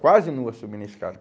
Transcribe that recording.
Quase nua subindo escada.